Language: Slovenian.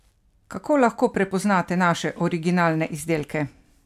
Kako lahko prepoznate naše originalne izdelke?